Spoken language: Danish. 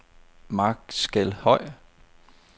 Markskelhøj